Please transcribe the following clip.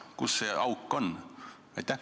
Kus see auk on?